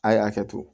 A' ye hakɛ to